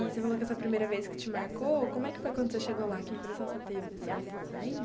E você falou que essa primeira vez que te marcou, como é que foi quando você chegou lá, que impressão você teve assim, você lembra?